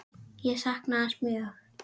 Ég sakna hans mjög.